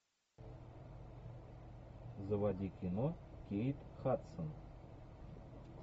заводи кино кейт хадсон